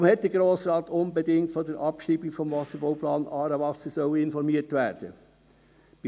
Warum hätte der Grosse Rat unbedingt über die Abschreibung des Wasserbauplans «Aarewasser» informiert werden sollen?